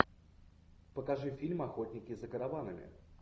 покажи фильм охотники за караванами